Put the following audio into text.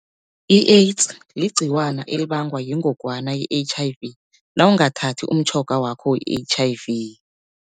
I-AIDS ligciwana elibangwa yingogwana i-H_I_V, nawungathathi umtjhoga wakho we-H_I_V.